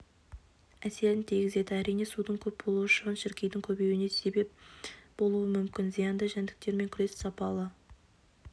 әсерін тигізеді әрине судың көп болуы шыбын-шіркейдің көбеюіне сеп болуы мүмкін зиянды жәндіктермен күрес сапалы